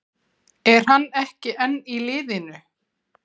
Er hann ekki enn í liðinu?